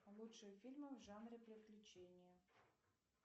лучшие фильмы в жанре приключения